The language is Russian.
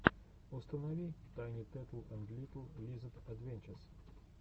установи тайни тетл энд литл лизэд адвенчез